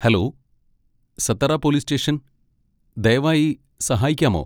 Hello, Satara police station, ദയവായി സഹായിക്കാമോ?